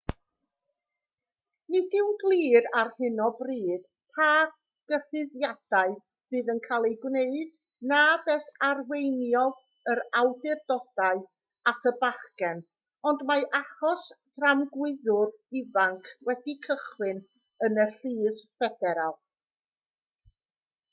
nid yw'n glir ar hyn o bryd pa gyhuddiadau fydd yn cael eu gwneud na beth arweiniodd yr awdurdodau at y bachgen ond mae achos tramgwyddwr ifanc wedi cychwyn yn y llys ffederal